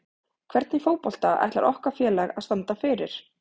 Hvernig fótbolta ætlar okkar félag að standa fyrir?